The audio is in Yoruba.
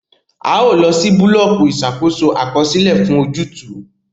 A o lọ si bulọọki Ìṣàkóso Àkọsílẹ fún ojútùú